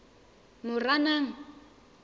moranang